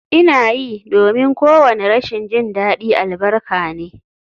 Ina yi, domin kowane rashin jin daɗi albarka ne